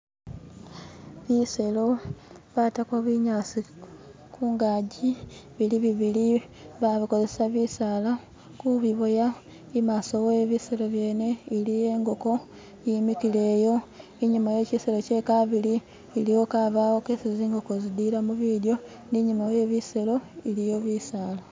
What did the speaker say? Biselo batako binyasi kungaji bili bibili babikozesa bisala kubiboya. Imaso webiselo byene iliyo ingoko yimikile'yo. Inyuma wekisello kyekabili iliyo kabawo kesi zingoko zililamo bilyo ninyuma we biselo iliyo bisala.